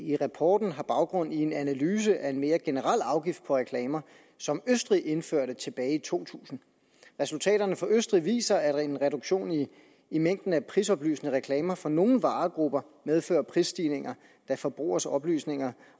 i rapporten har baggrund i en analyse af en mere generel afgift på reklamer som østrig indførte tilbage i to tusind resultaterne fra østrig viser at en reduktion i mængden af prisoplysende reklamer for nogle varegrupper medfører prisstigninger da forbrugernes oplysninger